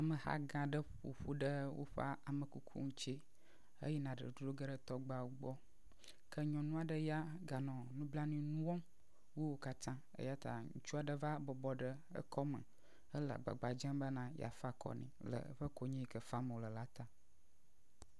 Ameha gã aɖe ƒo ƒu ɖe woƒe amekuku ŋuti heyina dodro ge ɖe tɔgbeawo gbɔ ke nyɔnu aɖe ya ga nɔ nublanui nu wɔm wu wo katã eyata ŋutsu aɖe va bɔbɔ ɖe ekɔme hele agbagba dzem bena yeafa akɔ nɛ le eƒe konyi yike fam wole la ta